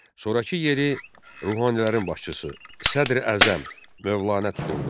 Sonrakı yeri ruhanilərin başçısı Sədr Əzəm Mövlanə tuturdu.